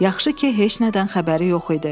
Yaxşı ki, heç nədən xəbəri yox idi.